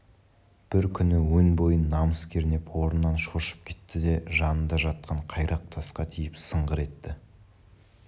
бір күні өн бойын намыс кернеп орнынан шоршып кетті де жанында жатқан қайрақ тасқа тиіп сыңғыр етті